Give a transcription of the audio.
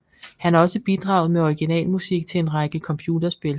Han har også bidraget med originalmusik til en række computerspil